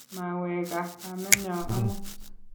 maweeka kamenyo amut